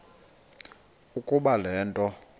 ukuba le nto